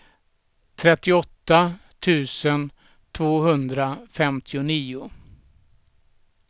trettioåtta tusen tvåhundrafemtionio